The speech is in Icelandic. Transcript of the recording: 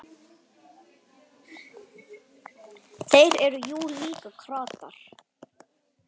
Þeir eru jú líka kratar.